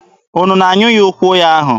Unu na-anyụ ya ụkwụ ahụ?